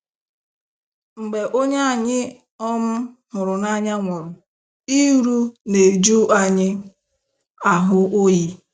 Mgbe onye anyị um hụrụ n'anya nwụrụ, iru na-eju anyị ahụ oyi.